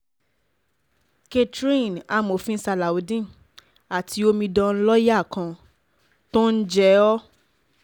catherine amòfin salaudeen àti omidan lọ́ọ́yà kan tó ń jẹ́ o